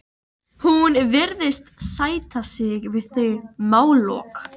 Hún virðist sætta sig við þau málalok.